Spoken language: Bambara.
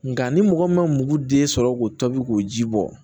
Nka ni mɔgɔ min ma mugu den sɔrɔ k'o tobi k'o ji bɔ